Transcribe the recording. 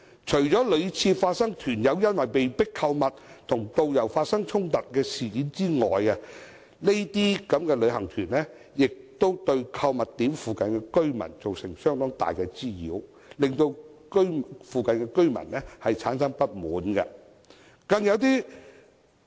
除了屢次發生團友因被迫購物而與導遊衝突的事件外，該等旅遊團也對購物點附近居民造成相當大的滋擾，令附近居民產生不滿。